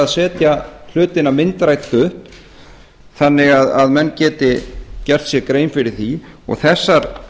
setja hlutina myndrænt upp þannig að menn geti gert sér grein fyrir því og þessar